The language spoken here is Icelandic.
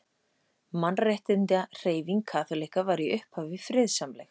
Mannréttindahreyfing kaþólikka var í upphafi friðsamleg.